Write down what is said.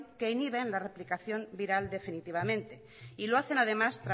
que inhibe la replicación viral definitivamente y lo hacen además